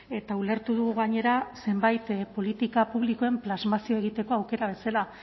eta ulertu dugu gainera zenbait politika publikoen plasmazio egiteko aukera bezala